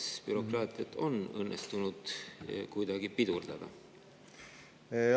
Kas bürokraatiat on õnnestunud kuidagi pidurdada?